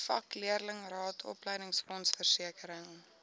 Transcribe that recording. vakleerlingraad opleidingsfonds versekering